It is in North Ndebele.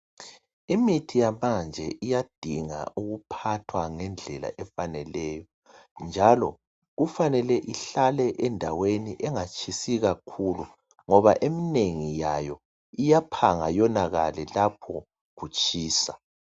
Imithi yamanje iyadinga ukuphathwa ngendlela efaneleyo. Njalo kufanele ihlale endaweni engatshisi kakhulu, ngoba emnengi yayo iyaphanga yonakale lapho kutshisa.